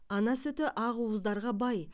ана сүті ақуыздарға бай